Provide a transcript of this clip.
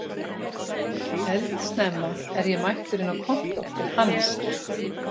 Eldsnemma er ég mættur inn á kontór til Hannesar